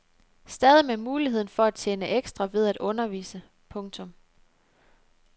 Stadig med muligheden for at tjene ekstra ved at undervise. punktum